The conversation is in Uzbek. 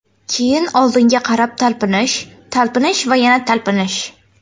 Keyin oldinga qarab talpinish, talpinish va yana talpinish.